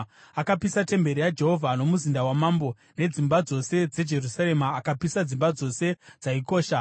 Akapisa temberi yaJehovha, nomuzinda wamambo nedzimba dzose dzeJerusarema. Akapisa, dzimba dzose dzaikosha.